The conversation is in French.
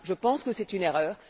Je pense que c'est une erreur.